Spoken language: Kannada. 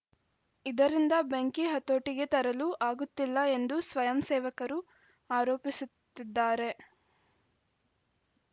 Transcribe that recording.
ಇದರಿಂದ ಬೆಂಕಿ ಹತೋಟಿಗೆ ತರಲು ಆಗುತ್ತಿಲ್ಲ ಎಂದು ಸ್ವಯಂಸೇವಕರು ಆರೋಪಿಸುತ್ತಿದ್ದಾರೆ